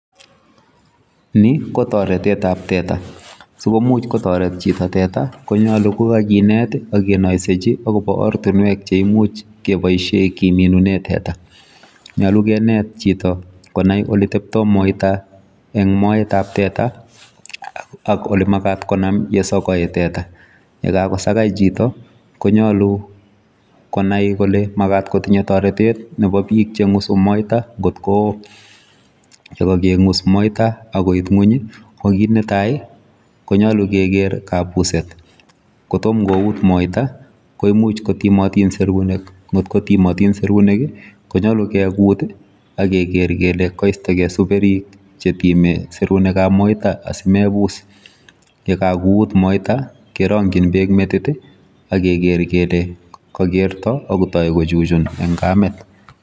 Ni ko toretetap teta. Sikomuch kotoret chito teta konyolu kokakinet akenoisechi akopo ortinwek cheimuch keboishe kiminune teta. Nyolu kenet chito konai oliteptoi moita eng moetap teta ak olimakat konam yesokoi teta. Yekakosakai chito konyolu konai kole makat kotinye toretet nepo biik cheng'usu moita nkot ko yekakeng'us moita nkot koit ng'uny ko kit netai konyolu keker kabuset. Kotom kout moita ko imuch kotimotin serunek. Nkot ko timotin serunek, kunyolu kekut ak keker kele kaistokei superik chetime serunekap moita asimebus. Yekakout moita, kerong'chin beek metit akeker kele kakerto akotoi kochuchun eng kamet.